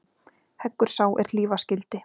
Heggur sá er hlífa skyldi.